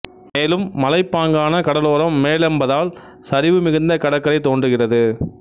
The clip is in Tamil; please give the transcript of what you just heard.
மேலும் மலைப்பாங்கான கடலோரம் மேலெபந்தால் சரிவு மிகுந்த கடற்கரை தோன்றுகிறது